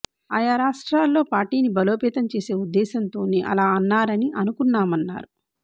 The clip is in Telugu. ఆయా రాష్ట్రాల్లో పార్టీని బలోపేతం చేసే ఉద్దేశంతోనే అలా అన్నారని అనుకున్నామన్నారు